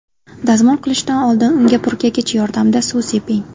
Dazmol qilishdan oldin unga purkagich yordamida suv seping.